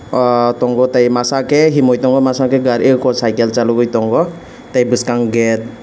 ah tango tei masakei hinui tango masakei gari o ko cycle salugoi tango tei buskango gate.